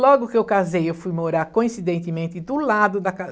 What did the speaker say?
Logo que eu casei, eu fui morar coincidentemente do lado da